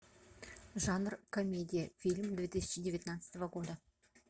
жанр комедия фильм две тысячи девятнадцатого года